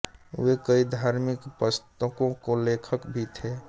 वे कई धार्मिक प्स्तकों के लखक भी थे